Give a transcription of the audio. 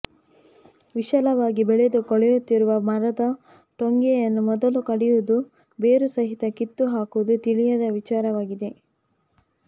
ವಿಶಾಲವಾಗಿ ಬೆಳೆದು ಕೊಳೆಯುತ್ತಿರುವ ಮರದ ಟೊಂಗೆಯನ್ನು ಮೊದಲು ಕಡಿಯುವುದೋ ಬೇರುಸಹಿತ ಕಿತ್ತುಹಾಕುವುದೋ ತಿಳಿಯದ ವಿಚಾರವಾಗಿದೆ